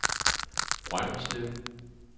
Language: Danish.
Brønderslev